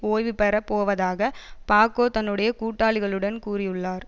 ஓய்வு பெற போவதாக பாக்கோ தன்னுடைய கூட்டாளிகளிடம் கூறியுள்ளார்